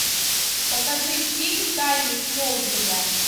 покажи фильм тайны смолвиля